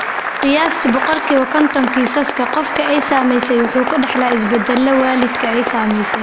Qiyaastii boqolkiba kontonee kiisaska, qofka ay saamaysay wuxuu ka dhaxlaa isbeddelka waalidkii ay saamaysay.